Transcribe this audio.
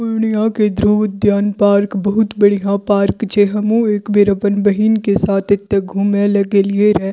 पूर्णिया के ध्रुव उद्यान पार्क एक बहुत बढ़िया पार्क छै जे हम्हू एक बेर अपन बहिन के साथ एते घूमेला गेलिए रहे।